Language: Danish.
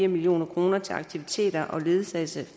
million kroner til aktiviteter og ledsagelse